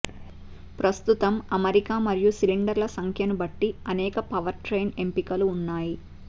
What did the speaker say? ప్రస్తుతం అమరిక మరియు సిలిండర్ల సంఖ్యను బట్టి అనేక పవర్ట్రెయిన్ ఎంపికలు ఉన్నాయి